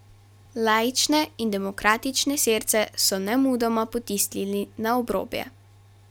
Laične in demokratične Sirce so nemudoma potisnili na obrobje.